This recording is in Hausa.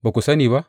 Ba ku sani ba?